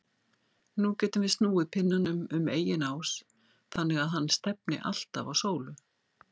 Nú getum við snúið pinnanum um eigin ás þannig að hann stefni alltaf á sólu.